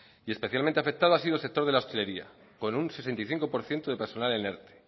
y especialmente afectado ha sido el sector de la hostelería con un sesenta y cinco por ciento de personal en erte